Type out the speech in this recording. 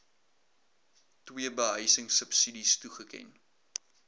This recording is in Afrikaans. ii behuisingsubsidies toegeken